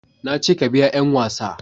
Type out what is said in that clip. na ce ka biya 'yan wasa